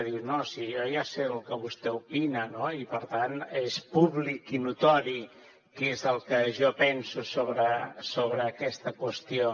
diu no si jo ja sé el que vostè opina i per tant és públic i notori què és el que jo penso sobre aquesta qüestió